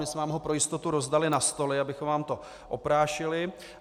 My jsme vám ho pro jistotu rozdali na stoly, abychom vám to oprášili.